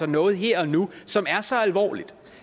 noget her og nu som er så alvorligt